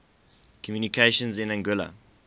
communications in anguilla